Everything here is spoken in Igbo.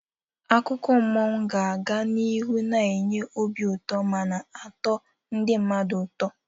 Akụkọ mmụọ ga-aga n'ihu na-enye obi ụtọ mana atọ ndị mmadụ ụtọ.